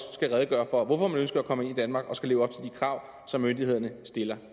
skal redegøre for hvorfor man ønsker at komme ind i danmark og skal leve op til de krav som myndighederne stiller